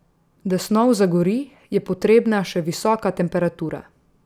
Da snov zagori, je potrebna še visoka temperatura.